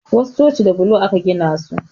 Wasu coci da bulo aka gina su